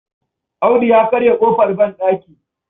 Audu ya karya ƙofar banɗaki.